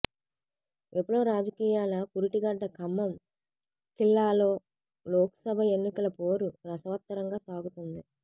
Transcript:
విప్లవ రాజకీయాల పురిటిగడ్డ ఖమ్మం ఖిల్లాలో లోక్సభ ఎన్నికల పోరు రసవత్తరంగా సాగుతోంది